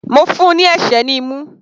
Mo fún un ní ẹ̀sẹ́ ní imú.